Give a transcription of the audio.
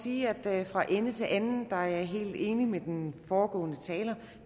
sige at jeg fra ende til anden er helt enig med den foregående taler